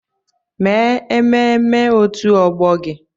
Mee ememme òtù ọgbọ gị!